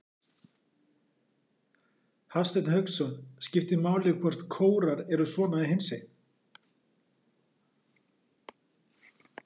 Hafsteinn Hauksson: Skiptir máli hvort kórar eru svona eða hinsegin?